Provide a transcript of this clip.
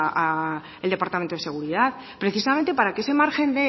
al departamento de seguridad precisamente para que ese margen